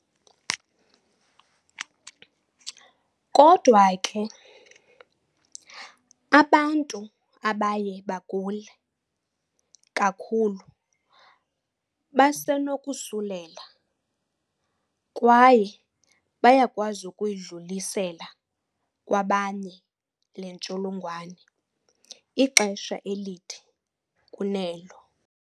Kodwa ke, abantu abaye bagule kakhulu basenokosulela kwaye bayakwazi ukuyidlulisela kwabanye le ntsholongwane ixesha elide kunelo.